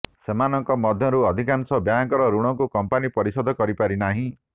ସେମାନଙ୍କ ମଧ୍ୟରୁ ଅଧିକାଂଶ ବ୍ୟାଙ୍କର ଋଣକୁ କଂପାନି ପରିଶୋଧ କରିପାରିନାହିଁ